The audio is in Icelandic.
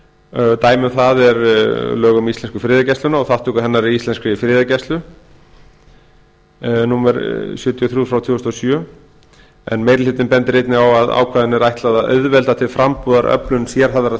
samkvæmt starfsmannalögunum samanber lög um íslensku friðargæsluna og þátttöku hennar í alþjóðlegri friðargæslu númer sjötíu og þrjú tvö þúsund og sjö meiri hlutinn bendir einnig á að ákvæðinu er ætlað að auðvelda til frambúðar öflun sérhæfðrar